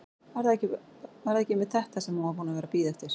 Var það ekki einmitt þetta sem hún var búin að vera að bíða eftir?